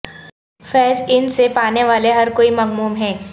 فیض ان سے پانے والے ہر کوئی مغموم ہیں